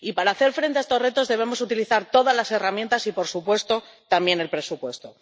Y para hacer frente a estos retos, debemos utilizar todas las herramientas y, por supuesto, también el presupuesto.